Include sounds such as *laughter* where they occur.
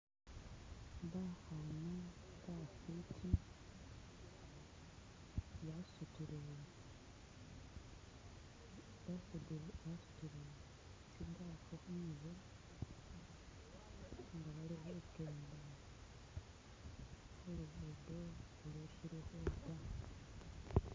*skip*